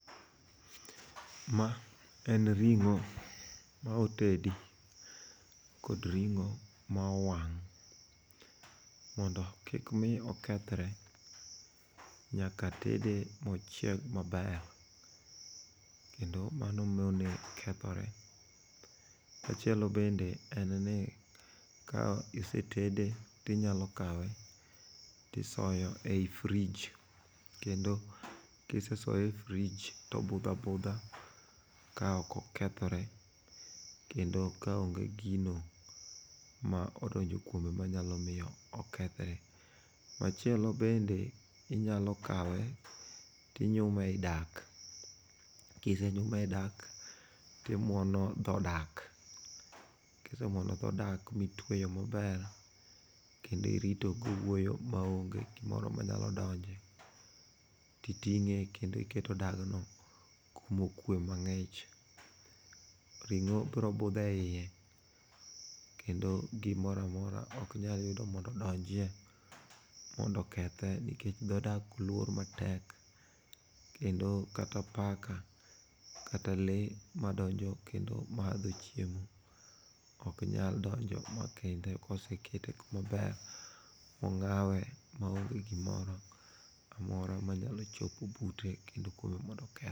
Ma en ring'o ma otedi kod ring'o ma owang'. Mondo kikmi okethre, nyaka tede ma ochieg maber, kendo mano mone kethore. Machielo bende en ni, ka isetede tinyalo kawe tisoyo e i frij kendo kisesoye e frij tobudho abudha ka ok okethore kendo ka onge gino ma odonjo kuome manyalo miyo okethre. Machielo bende inyalo kawe tinyume i dak, kisenyume e i dak timwono dho dak. Kisemwono dho dak mitweyo maber kendo irido gowuoyo maonge gimoro manyalo donje, titing'e iketo dagno kumokwe mang'ich. Ring'o bro budho e iye, kendo gimoro amora ok nyal yudo mondo odonjye mondo okethe nikech dho dak olor matek kendo kata paka kata lee madonjo kendo madho chiemo ok nyal donjo ma kendo kosekete kama ber mong'awe maonge gimoro amora manyalo chopo bute kendo koro mondo okethe.